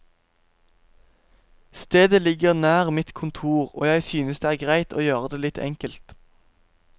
Stedet ligger nær mitt kontor, og jeg synes det er greit å gjøre det litt enkelt.